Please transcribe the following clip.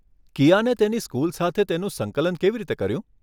કિયાને તેની સ્કુલ સાથે તેનું સંકલન કેવી રીતે કર્યું?